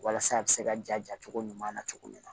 Walasa a bɛ se ka ja cogo ɲuman na cogo min na